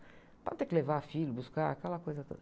Para não ter que levar filho, e buscar, aquela coisa toda.